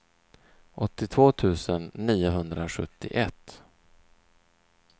åttiotvå tusen niohundrasjuttioett